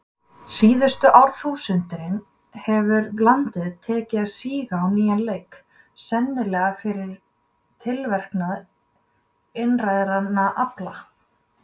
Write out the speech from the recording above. Síðustu árþúsundin hefur landið tekið að síga á nýjan leik, sennilega fyrir tilverknað innrænna afla.